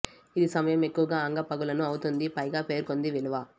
ఇది సమయం ఎక్కువగా అంగ పగులును అవుతుంది పైగా పేర్కొంది విలువ